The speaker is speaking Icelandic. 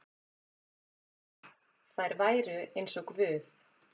Þær væru eins og guð.